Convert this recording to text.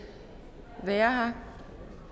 være her